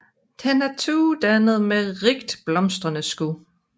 Den er tuedannende med rigtblomstrende skud